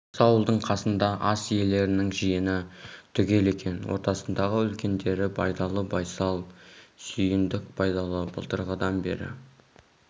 осы ауылдың қасында ас иелерінің жиыны түгел екен ортасындағы үлкендері байдалы байсал сүйіндік байдалы былтырғыдан бері